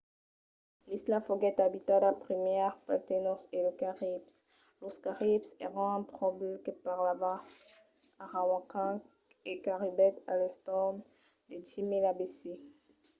l'isla foguèt abitada primièr pels taínos e los caribs. los caribs èran un pòble que parlava arawakan e qu'arribèt a l'entorn de 10.000 abc